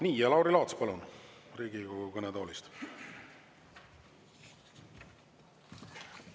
Nii, ja Lauri Laats, palun, Riigikogu kõnetoolist!